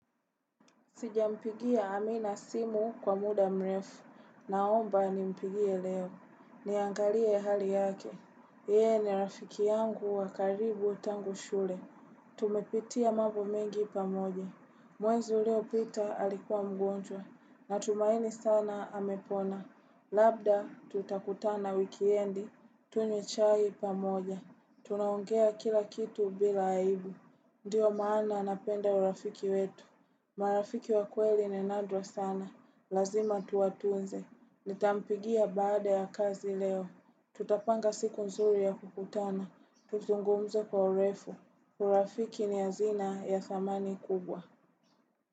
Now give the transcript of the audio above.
Sijampigia amina simu kwa muda mrefu. Naomba nimpigie leo. Niangalie hali yake. Yeye ni rafiki yangu wa karibu tangu shule. Tumepitia mambo mengi pamoja. Mwanzo leo peter alikuwa mgonjwa. Natumaini sana amepona. Labda tutakutana wikendi. Tunywe chai pamoja. Tunaongea kila kitu bila aibu. Ndio maana napenda urafiki wetu. Marafiki wa kweli ni nadra sana. Lazima tuwatunze. Nitampigia baada ya kazi leo. Tutapanga siku nzuri ya kukutana. Tuzungumze kwa urefu. Urafiki ni hazina ya dhamani kubwa.